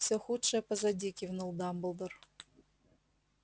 всё худшее позади кивнул дамблдор